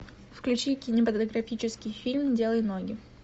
включи кинематографический фильм делай ноги